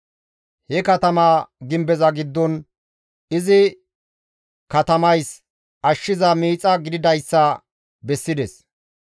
He katamaa gimbeza giddon, izi katamays ashshiza miixa gididayssa bessides.